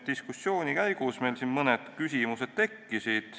Diskussiooni käigus tekkisid meil mõned küsimused.